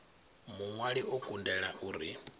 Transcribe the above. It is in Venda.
muṅwali o kundela u ri